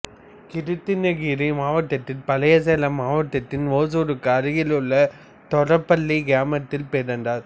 கிருட்டிணகிரி மாவட்டத்தில் பழைய சேலம் மாவட்டத்தின் ஓசூருக்கு அருகில் உள்ள தொரப்பள்ளி கிராமத்தில் பிறந்தார்